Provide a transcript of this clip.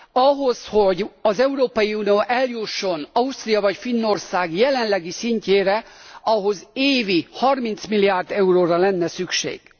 Ahhoz, hogy az Európai Unió eljusson Ausztria vagy Finnország jelenlegi szintjére, ahhoz évi 30 milliárd euróra lenne szükség.